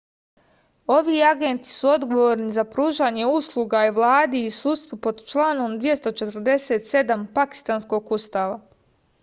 ovi agenti su odgovorni za pružanje usluga vladi i sudstvu pod članom 247 pakistanskog ustava